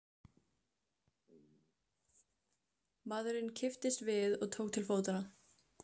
Maðurinn kipptist við og tók til fótanna.